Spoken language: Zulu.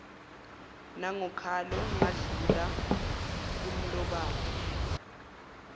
nangokhalo ngadlula kumlobane